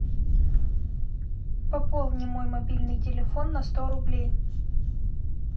пополни мой мобильный телефон на сто рублей